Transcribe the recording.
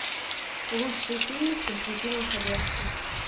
лучшие фильмы с константином хабенским